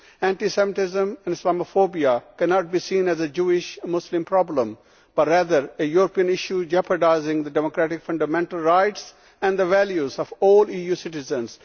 Anti Semitism and Islamophobia cannot be seen as a Jewish Muslim problem, but rather a European issue jeopardising the democratic fundamental rights and the values of all EU citizens.